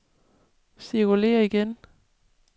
cirkulér igen